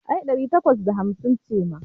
Ai ɗari takwas da hamsin ce ma.